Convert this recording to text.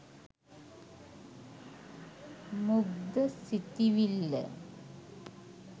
මුග්ධ සිතිවිල්ල